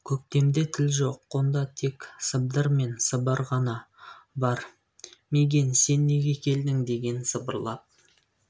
көктемде тіл жоқ онда тек сыбдыр мен сыбыр ғана бар мигэн сен неге келдің деген сыбырлап